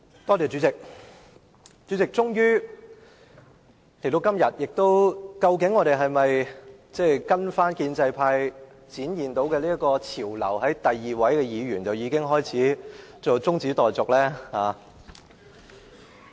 代理主席，今天我們應否跟隨建制派帶領的潮流，在第二位議員發言後便提出中止待續的議案呢？